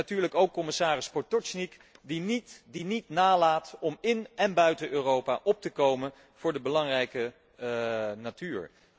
En natuurlijk ook commissaris Potočnik, die niet nalaat om in en buiten Europa op te komen voor de belangrijke natuur.